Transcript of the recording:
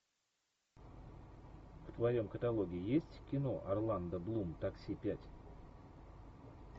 в твоем каталоге есть кино орландо блум такси пять